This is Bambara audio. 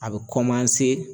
A bi kɔnmanse